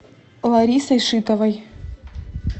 ларисой шитовой